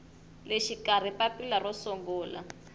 le xikarhi papila ro sungula